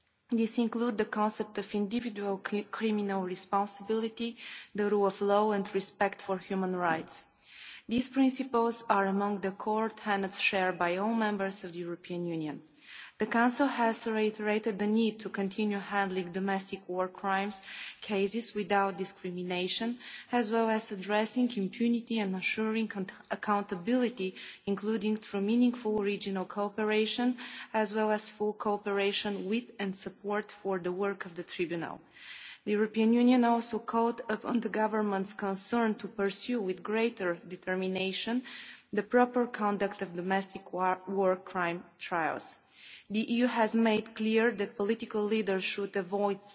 work. These include the concept of individual criminal responsibility, the rule of law and respect for human rights. These principles are among the core tenets shared by all members of the European Union. The Council has reiterated the need to continue handling domestic war crimes cases without discrimination, as well as addressing impunity and ensuring accountability, including through meaningful regional cooperation, as well as full cooperation with and support for the work of the Tribunal. The EU also called upon the governments concerned to pursue with greater determination the proper conduct of domestic war crime trials. The EU has made clear that political leaders